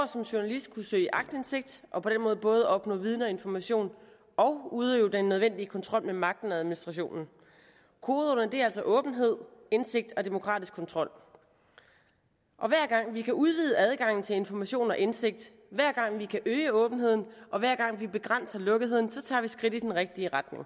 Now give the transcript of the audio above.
som journalist kunne søge aktindsigt og på den måde både opnå viden og information og udøve den nødvendige kontrol med magten og administrationen kodeordene er altså åbenhed indsigt og demokratisk kontrol og hver gang vi kan udvide adgangen til information og indsigt hver gang vi kan øge åbenheden og hver gang vi begrænser lukketheden tager vi skridt i den rigtige retning